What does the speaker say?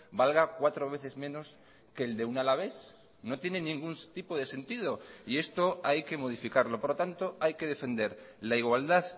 valga cuatro veces menos que el de un alavés no tiene ningún tipo de sentido y esto hay que modificarlo por lo tanto hay que defender la igualdad